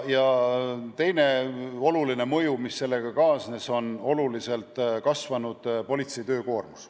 Ja teine oluline mõju, mis sellega kaasnes, on politsei oluliselt kasvanud töökoormus.